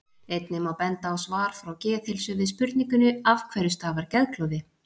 einnig má benda á svar frá geðheilsu við spurningunni af hverju stafar geðklofi